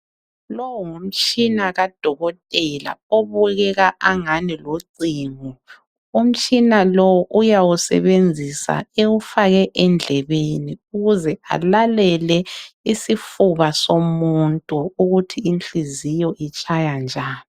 Lowu ngumtshina kadokotela obukeka angani lucingo. Umtshina lo uyawusebenzisa ewufake endlebeni ukuze alalele isifuba somuntu ukuthi inhliziyo itshaya njani.